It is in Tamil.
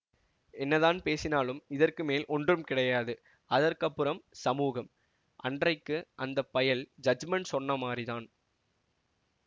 என்னதான் பேசினாலும் இதற்குமேல் ஒன்றும் கிடையாது அதற்கப்புறம் சமூகம் அன்றைக்கு அந்த பயல் ஜட்ஜ்மென்ட் சொன்ன மாதிரிதான்